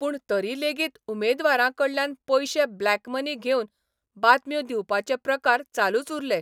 पूण तरी लेगीत उमेदवारांकडल्यान पयशे ब्लॅक मनी घेवन बातम्यो दिवपाचे प्रकार चालूच उरले.